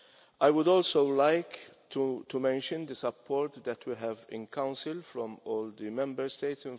I would also like to mention the support that we have in Council from all the Member States.